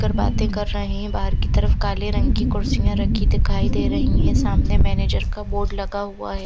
कर बाते कर रहे है बहर की तरफ काले रंग की कुर्सिया रखी दिखाई दे रही है सामने मेनेजर का बोर्ड लगा हुआ है।